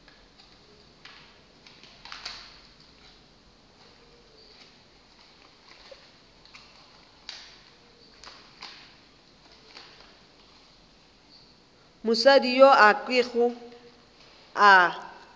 mosadi yo a kego a